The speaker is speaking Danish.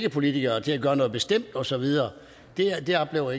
af politikere til at gøre noget bestemt og så videre det oplever